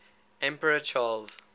emperor charles